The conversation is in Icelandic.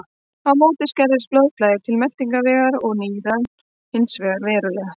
Á móti skerðist blóðflæði til meltingarvegar og nýrna hins vegar verulega.